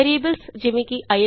variables easy